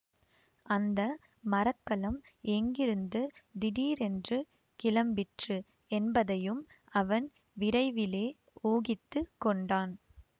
அந்த மர கலம் எங்கிருந்து திடீரென்று கிளம்பிற்று என்பதையும் அவன் விரைவிலே ஊகித்து கொண்டான்